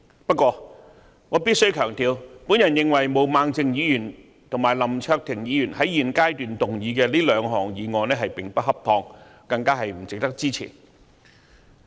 不過，我必須強調，我認為毛孟靜議員及林卓廷議員在現階段動議這兩項議案並不恰當，更不值得支持。